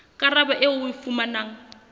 karabo eo o e fumanang